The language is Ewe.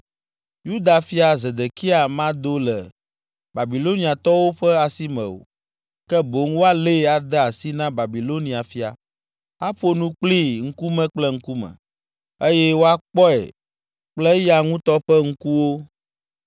Yuda fia Zedekia mado le Babiloniatɔwo ƒe asi me o, ke boŋ woalée ade asi na Babilonia fia, aƒo nu kplii ŋkume kple ŋkume, eye wòakpɔe kple eya ŋutɔ ƒe ŋkuwo.